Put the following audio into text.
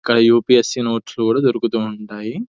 ఇక్కడ UPSC. Notes కూడా ఇవ్వడం జరుగుతుంది--